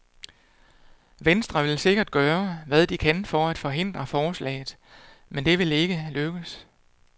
Venstre vil sikkert gøre, hvad de kan for at hindre forslaget, men det vil ikke lykkes.